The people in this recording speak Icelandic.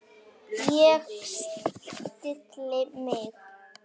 Ég stilli mig.